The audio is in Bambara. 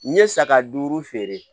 N ye saga duuru feere